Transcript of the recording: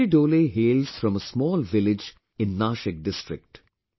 Shivaji Dole hails from a small village in Nashik district